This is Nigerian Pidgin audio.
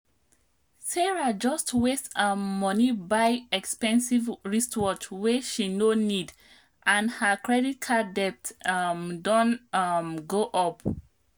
sarah just waste um money buy expensive wristwatch wey she no need and her credit card debt um don um go up